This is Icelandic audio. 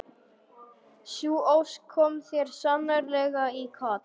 Sú ósk kom þér sannarlega í koll.